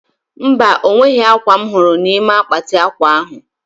Mba, onweghi akwa m huru nime akpati akwa ahu